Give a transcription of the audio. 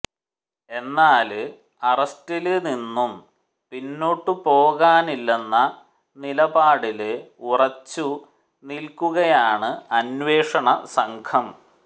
എന്നാല് അറസ്റ്റില് നിന്നും പിന്നോട്ട് പോകാനാകില്ലെന്ന നിലപാടില് ഉറച്ചു നില്ക്കുകയാണ് അന്വേഷണ സംഘം